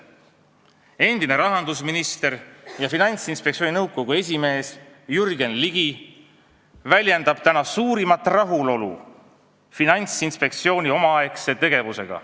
Endine rahandusminister ja Finantsinspektsiooni nõukogu esimees Jürgen Ligi väljendab täna suurimat rahulolu Finantsinspektsiooni omaaegse tegevusega.